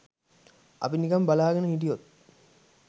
අපි නිකන් බලාගෙන හිටියොත්